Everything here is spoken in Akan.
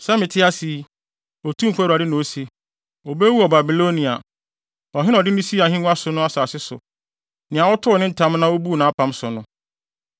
“ ‘Sɛ mete ase yi, Otumfo Awurade na ose, obewu wɔ Babilonia, ɔhene a ɔde no sii ahengua so no asase so, nea ɔtoo ne ntam na obuu nʼapam so no.